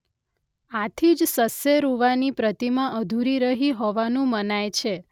આથી જ સસ્સેરુવાની પ્રતિમા અધુરી રહી હોવાનું મનાય છે.